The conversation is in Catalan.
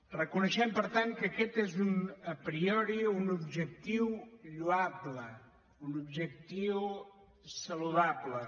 reconeixem per tant que aquest és a prioritiu lloable un objectiu saludable